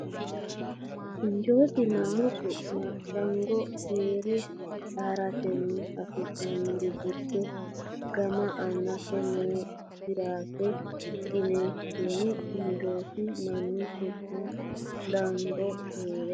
Injoosi Mannu su ma Laango Keere haa ratenni afi nanniri giddo gama aante noo giraafe qiniishshinni Injoosi Mannu su ma Laango Keere.